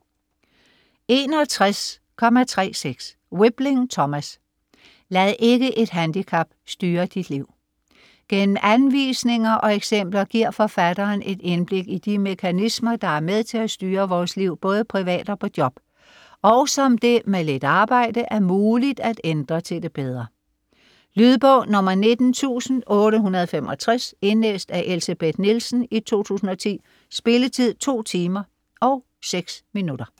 61.36 Wibling, Thomas: Lad ikke et handicap styre dit liv! Gennem anvisninger og eksempler giver forfatteren et indblik i de mekanismer, der er med til at styre vores liv både privat og på job, og som det, med lidt arbejde, er muligt at ændre til det bedre. Lydbog 19865 Indlæst af Elsebeth Nielsen, 2010. Spilletid: 2 timer, 6 minutter.